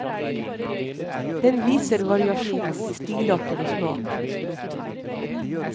Den viser variasjonen i stilarter og smak. punktum